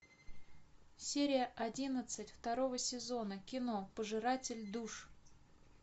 серия одиннадцать второго сезона кино пожиратель душ